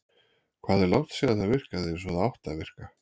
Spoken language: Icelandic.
Hvað er langt síðan það virkaði eins og það átti að virka?